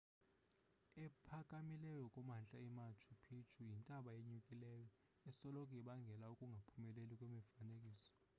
ephakamileyo kumantla emachu picchu yintaba enyukileyo esoloko ibangela ukungaphumeleli kwemifanekiso